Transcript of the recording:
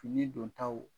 Fini don taw